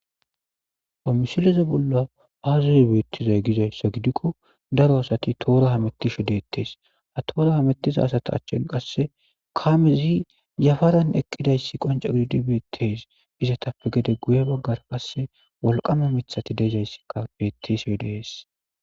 Pamusileze bolla aazuz beettizay gizayssa gidikko daro asati toora hamettisho deettees ha toora hamettiza asata achchin qasse kaamezi yafaran eqqidayssi qonco gididi betees izatappe gede guye baggar qasse walqama mithati deezayssikka bettes we deees.